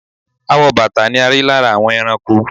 Awọ bàtà ni a rí lára àwọn ẹranko.